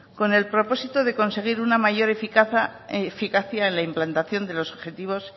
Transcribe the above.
con el propósito de conseguir una mayor eficacia en la implantación de los objetivo